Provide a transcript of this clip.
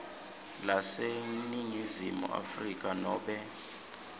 laseningizimu afrika nobe